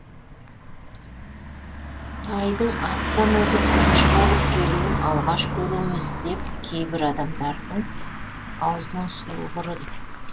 тайдың аттан озып бірінші болып келуін алғаш көруіміз деп кейбір адамдардың аузының суы құрыды